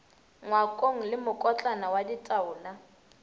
ngwakong le mokotlana wa ditaola